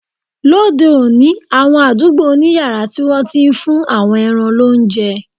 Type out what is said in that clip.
Lóde òní, àwọn àdúgbò ní yàrá tí wọ́n ti ń fún àwọn ẹran lóúnjẹ